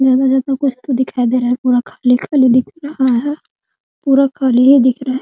लग रहा है तो कुछ तो दिखाई दे रहा है पूरा खाली-खाली दिख रहा है पूरा खाली है दिख रहा है।